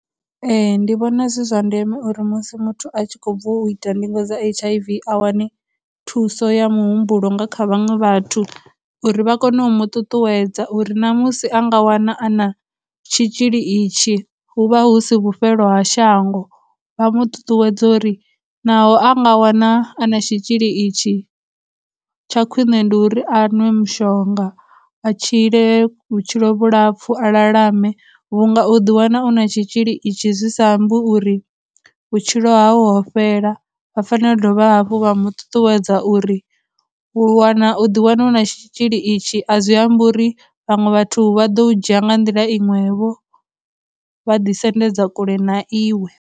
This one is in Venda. Ee, ndi vhona zwi zwa ndeme uri musi muthu a tshi khou bva u ita ndingo dza H_I_V a wane thuso ya muhumbulo nga kha vhaṅwe vhathu uri vha kone u mu ṱuṱuwedza uri na musi a nga wana a na tshitzhili itshi hu vha hu si vhufhelo ha shango, vha mu ṱuṱuwedze uri naho a nga wana a na tshitzhili itshi tsha khwine ndi uri a nwe mushonga, a tshile vhutshilo vhulapfhu, a lalame, vhunga u ḓi wana u na tshitzhili itshi zwi sa ambi uri vhutshilo hau ho fhela, vha fanela u dovha hafhu vha mu ṱuṱuwedza uri u wana, u ḓi wana hu na tshitzhili itshi a zwi ambi uri vhaṅwe vhathu vha ḓo u dzhia nga nḓila iṅwevho, vha ḓi sendedza kule na iwe.